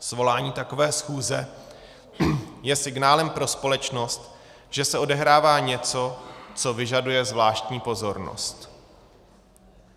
Svolání takové schůze je signálem pro společnost, že se odehrává něco, co vyžaduje zvláštní pozornost.